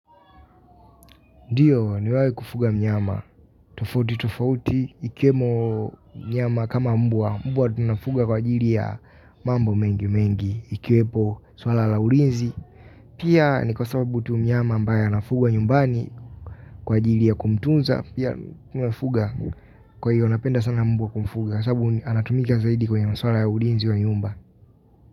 Ndiyo nimewai kufuga mnyama. Tofauti tofauti ikiwemo mnyama kama mbwa. Mbwa tunafuga kwa ajiri ya mambo mengi mengi. Ikiwepo swala la ulinzi. Pia ni kwa sababu tu mnyama ambaye anafugwa nyumbani kwa ajiri ya kumtuza. Pia nafuga. Kwa hiyo napenda sana mbwa kumfuga. Sabu anatumika zaidi kwenye maswala ya ulinzi wa nyumba.